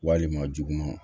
Walima juguman